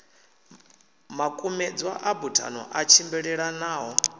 makumedzwa a buthano a tshimbilelanaho